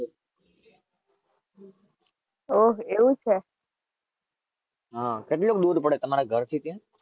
ઓહ એવું છે?